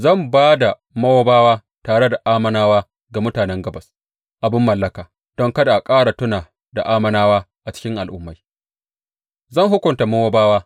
Zan ba da Mowabawa tare da Ammonawa ga mutanen Gabas abin mallaka, don kada a ƙara tuna da Ammonawa a cikin al’ummai; zan hukunta Mowabawa.